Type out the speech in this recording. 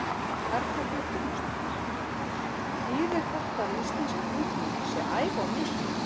Erla Björg Gunnarsdóttir: Þýðir þetta að íslensk ungmenni séu að æfa of mikið?